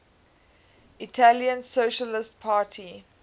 italian socialist party